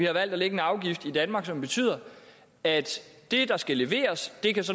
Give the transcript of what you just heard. har valgt at lægge en afgift på i danmark som betyder at det der skal leveres